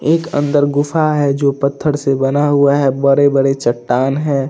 एक अंदर गुफा है। जो पठार से बना हुआ है। बड़ी- बड़ी चट्टान है।